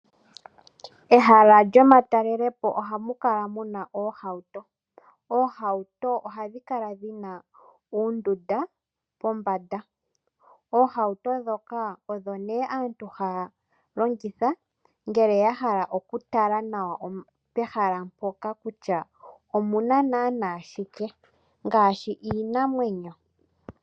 Ehala lyomatalelepo ohamu kala muna oohauto. Oohauto ohadhi kala dhi na oondunda pombanda. Oohauto ndhoka odho nee aantu haya longitha ngele ya hala oku tala nawa pehala mpoka kutya omuna naana shike ngaashi iinamwenyo.